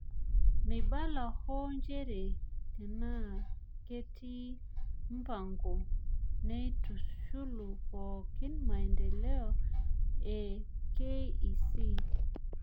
Meibala hoo nchere tenaaketii mpango naitushulu pooki maendeleo e KEC.